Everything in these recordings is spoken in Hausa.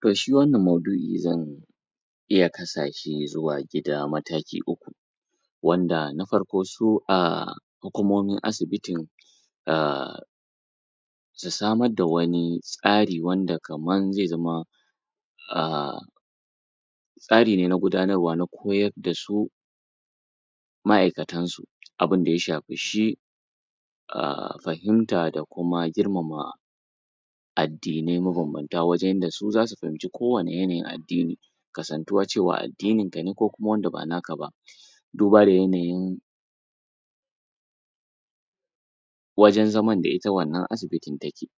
To, shi wannan maudu'i zan iya kasa shi zuwa gida mataki uku, wanda na farko su a hukumomin asibitin, um su samar da wani tsari, wanda kamar zai zama um tsari ne na gudanarwa, na koyar da su ma'aikatan su abinda ya shafi shi um fahimta, da kuma girmama addinai mabambanta, wajen yanda su zasu fahimci ko wani yanayin addini. Kasantuwa cewa addinin ka ne, ko kuma wanda ba naka ba, duba da yanayin wajen zaman da ita wannan asibitin take.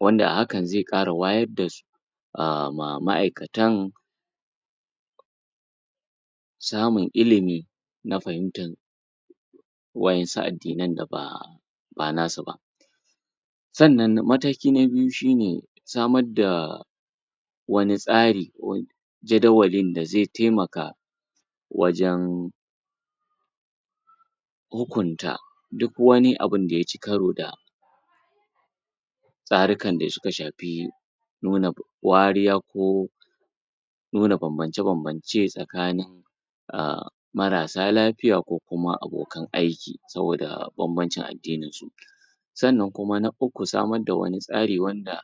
Wanda a hakan zai ƙara wayad da su ma'aikatan, samun ilimi, na fahimtan wa'insu addinan da ba ba nasu ba. Sannan mataki na biyu shine, samad da wani tsari, wani jadawalin da zai taimaka, wajan hukunta duk wani abunda yaci karo da tsarukan da suka shafi nuna wariya, ko nuna bambance-bambance tsakanin um marasa lafiya ko kuma abokan aiki, saboda bambancin addinin su. Sannan kuma na uku, samad da wani tsari wanda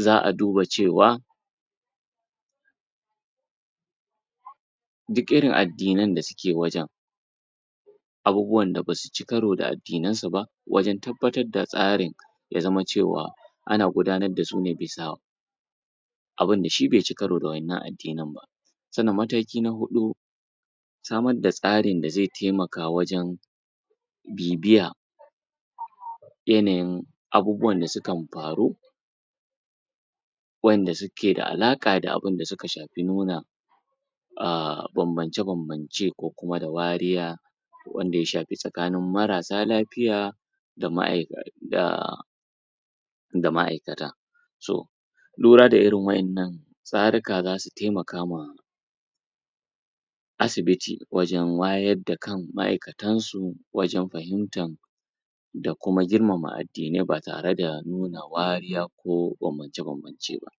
za a duba cewa duk irin addinan da suke wajan, abubuwan da basu ci karo da addinan su ba, wajan tabbatar da tsarin, ya zama cewa ana gudanad dasu ne bisa abunda shi be ci karo da wa'innan addinin ba. Sannan mataki na huɗu, samad da tsarin da zai taimaka wajan bibiya yanayin abubuwan da sukan faru, wa'inda suke da alaƙa da abunda suka shafi nuna um bambance-bambance, ko kuma da nuna wariya, wanda ya shafi tsakanin marasa lafiya da da ma'aikata. So, lura da irin wa'innan tsarika zasu taimaka ma asibiti, wajan wayad da kan ma'aikatan su, wajan fahimtan da kuma girmama addinai, ba tare da nuna wariya ko bambance-bambancen ba.